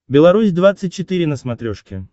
беларусь двадцать четыре на смотрешке